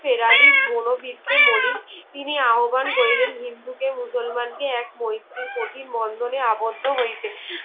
ফেরালি মনো বৃত্তে মলিন তিনি আহব্বান করিলেন হিন্দু কে মুসলমান কে এক মৈত্রীর প্রতি বন্ধনে আবদ্ধ হইতে